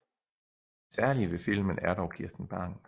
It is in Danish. Det særlige ved filmen er dog Kirsten Bang